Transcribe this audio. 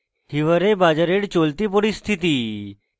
hiware bazar এর চলতি পরিস্থিতি এবং